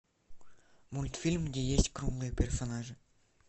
мультфильм где есть круглые персонажи